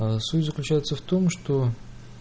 суть заключается в том что